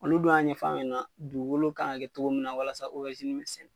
Olu don y'a ɲɛ fɔ a ɲɛna dugukolo ka kan ka kɛ cogo min na walasa obɛrizini bɛ sɛnɛ.